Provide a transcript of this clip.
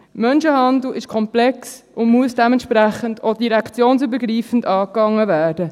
Menschenhandel ist komplex und muss dementsprechend auch direktionsübergreifend angegangen werden.